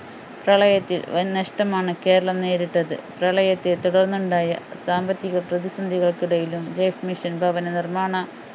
പ്രളയത്തിൽ വൻനഷ്ടമാണ് കേരളം നേരിട്ടത് പ്രളയത്തെ തുടർന്നുണ്ടായ സാമ്പത്തിക പ്രതിസന്ധികൾക്കിടയിലും life mission ഭവന നിർമ്മാണ